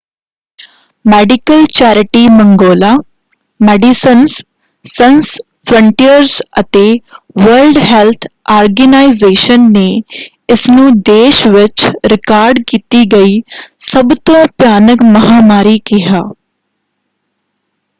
Medical charity ਮੰਗੋਲਾ Medecins Sans Frontieres ਅਤੇ World Health Organization ਨੇ ਇਸਨੂੰ ਦੇਸ਼ ਵਿੱਚ ਰਿਕਾਰਡ ਕੀਤੀ ਗਈ ਸਭ ਤੋਂ ਭਿਆਨਕ ਮਹਾਂਮਾਰੀ ਕਿਹਾ।